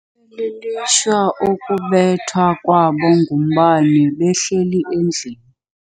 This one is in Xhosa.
lilishwa ukubethwa kwabo ngumbane behleli endlini.